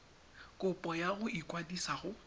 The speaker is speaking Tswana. kopo ya go ikwadisa go